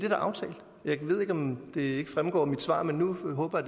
er aftalt og jeg ved ikke om det ikke fremgår af mit svar men nu håber